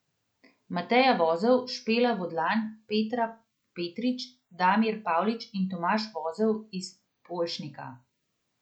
Mateja Vozelj, Špela Vodlan, Petra Petrič, Damir Pavlič in Tomaž Vozelj iz Polšnika.